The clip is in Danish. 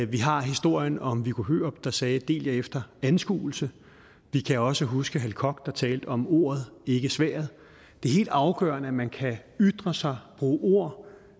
vi har historien om viggo hørup der sagde del jer efter anskuelse vi kan også huske hal koch der talte om ordet ikke sværdet det er helt afgørende at man kan ytre sig bruge ord